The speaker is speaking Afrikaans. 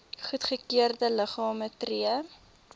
goedgekeurde liggame tree